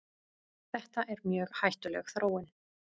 Þetta er mjög hættuleg þróun.